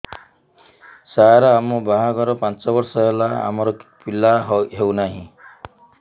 ସାର ଆମ ବାହା ଘର ପାଞ୍ଚ ବର୍ଷ ହେଲା ଆମର ପିଲା ହେଉନାହିଁ